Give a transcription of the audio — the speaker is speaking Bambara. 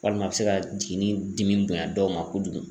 Walima a bɛ se ka jiginni dimi bonya dɔw ma kojugu.